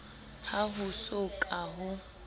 ha ho so ka ho